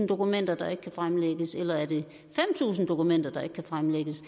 dokumenter der ikke kan fremlægges eller er det fem tusind dokumenter der ikke kan fremlægges